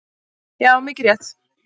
Já, mikið rétt.